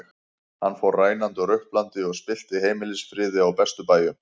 Hann fór rænandi og ruplandi og spillti heimilisfriði á bestu bæjum.